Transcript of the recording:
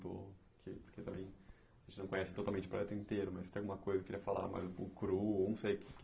Porque também a gente não conhece totalmente o projeto inteiro, mas se tem alguma coisa que você queria falar mais um pouco ou não sei o que.